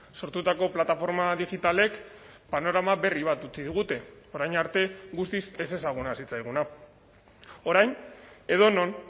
sortutako plataforma digitalek panorama berri bat utzi digute orain arte guztiz ezezaguna zitzaiguna orain edonon